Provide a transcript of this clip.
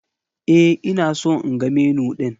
E, ina so in ga Menu ɗin